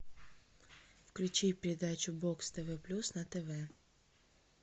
включи передачу бокс тв плюс на тв